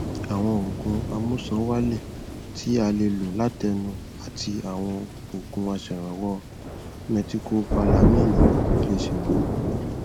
àwọn òògùn amúṣan wálè tí a lè lò látẹnu àti àwọn òògun aṣèrànwọ mẹtikọbalamíìnì lè ṣèrànwọ